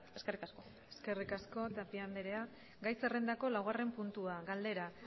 eskerrik asko eskerrik asko tapia andrea gai zerrendako laugarren puntua galdera